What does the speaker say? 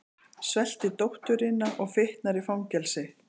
Svelti dótturina og fitnar í fangelsi